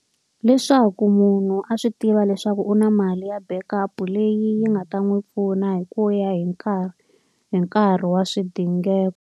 Leswaku munhu a swi tiva leswaku u na mali ya backup-u leyi yi nga ta n'wi pfuna hi ku ya hi nkarhi hi nkarhi wa swidingeko.